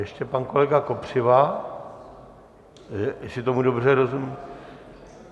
Ještě pan kolega Kopřiva, jestli tomu dobře rozumím?